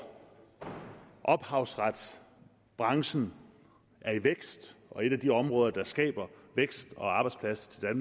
ophavsretsbranchen er i vækst og er et af de områder der skaber vækst og arbejdspladser i